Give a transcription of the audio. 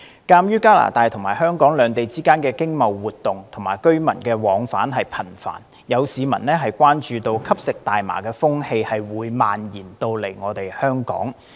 鑒於加拿大和香港兩地之間的經貿活動和居民往返頻繁，有市民關注吸食大麻的風氣會蔓延到香港。